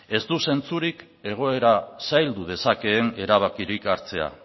ez du zentzurik egoera zaildu dezakeen erabakirik hartzea